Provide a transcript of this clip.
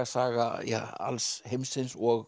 saga alls heimsins og